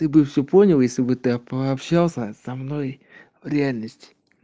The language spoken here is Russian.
ты бы всё понял если бы ты пообщался со мной в реальности